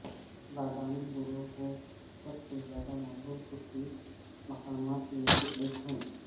بادام گروو سب سے زیادہ مقبول چھٹی مقامات میں سے ایک ہے